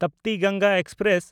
Tapti Ganga express